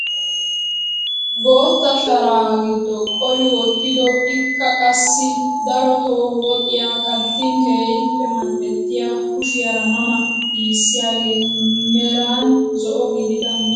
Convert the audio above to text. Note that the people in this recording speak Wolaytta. Bootta sharaa giddo qoli wottido ikka qassi darotoo woxiyaa kattin keehippe mal"ettiyaa kushiyaara ma ma giisiyaage meran zo"o gidida misiraa giyoogaa.